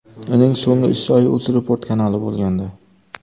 Uning so‘nggi ish joyi UzReport kanali bo‘lgandi.